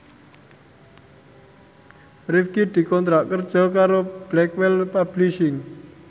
Rifqi dikontrak kerja karo Blackwell Publishing